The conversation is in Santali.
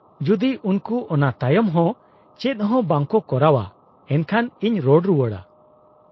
-ᱡᱩᱫᱤ ᱩᱱᱠᱩ ᱚᱱᱟ ᱛᱟᱭᱚᱢ ᱦᱚᱸ ᱪᱮᱫ ᱦᱚᱸ ᱵᱟᱝ ᱠᱚ ᱠᱚᱨᱟᱣᱼᱟ, ᱮᱱᱠᱷᱟᱱ ᱤᱧ ᱨᱚᱲ ᱨᱩᱣᱟᱹᱲᱟ ᱾